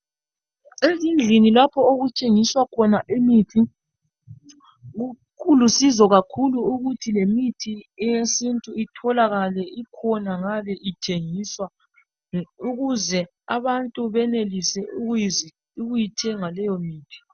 Ezindlini lapho okuthengiswa khona imithi kulusizo kakhulu ukuthi lemithi eyesintu itholakale ikhona ngabe ithengiswa ukuze abantu benelise ukuyithenga leyimithi.